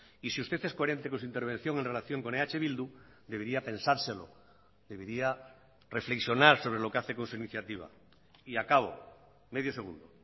y si usted es coherente con su intervención en relación con eh bildu debería pensárselo debería reflexionar sobre lo que hace con su iniciativa y acabo medio segundo